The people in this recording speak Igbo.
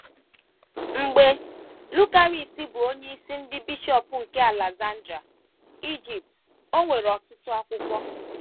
Mgbe Lucaris bụ onyeisi ndị bishọp nke Aleksandria, Ijipt, o nwere ọtụtụ akwụkwọ.